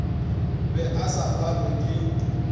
be a sa phalwe ke